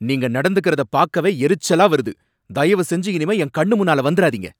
நீங்க நடந்துக்கறத பாக்கவே எரிச்சலா வருது, தயவு செஞ்சு இனிமே என் கண்ணுமுன்னால வந்துராதீங்க.